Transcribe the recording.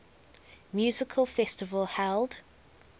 music festival held